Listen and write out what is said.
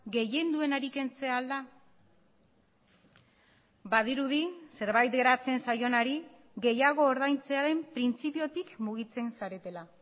gehien duenari kentzea al da badirudi zerbait geratzen zaionari gehiago ordaintzearen printzipiotik mugitzen zaretela